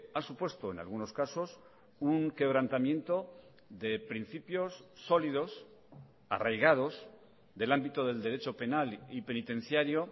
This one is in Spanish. ha supuesto en algunos casos un quebrantamiento de principios sólidos arraigados del ámbito del derecho penal y penitenciario